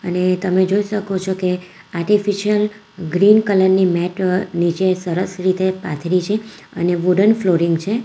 ને તમે જોઈ શકો છો કે આર્ટિફિશિયલ ગ્રીન કલર ની મેટ નીચે સરસ રીતે પાથરી છે અને વુડન ફ્લોરિંગ છે.